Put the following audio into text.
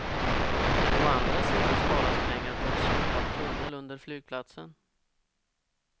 Å andra sidan sparas pengar på en slopad tunnel under flygplatsen.